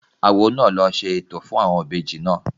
Awo náà ló ṣe ètò fún àwọn ìbejì náà